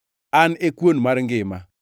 An e kuon mar ngima.